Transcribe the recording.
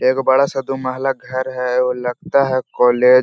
एक बड़ा सा दू महला घर है और लगता है कॉलेज --